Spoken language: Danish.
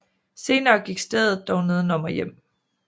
Senere gik stedet dog neden om og hjem